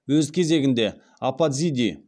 өз кезегінде апатзиди